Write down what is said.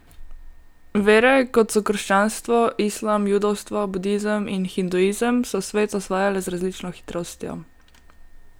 Vere, kot so krščanstvo, islam, judovstvo, budizem in hinduizem, so svet osvajale z različno hitrostjo.